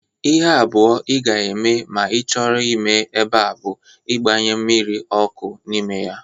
Ihe abụọ ị ga-eme ma ị chọrọ ime eba bụ igbanye mmiri ọkụ n'ime ya